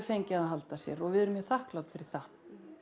fengið að halda sér og við erum mjög þakklát fyrir það